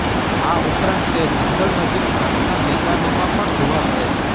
આ ઉપરાંત તે જંગલ નજીક ઘાસના મેદાનોમાં પણ જોવા મળે છે